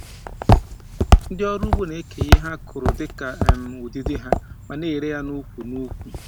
Ndị ọrụ ugbo na-eke ihe ha kụrụ dị ka um ụdịdị ha, ma na-ere ha n’ukwu n'ukwu.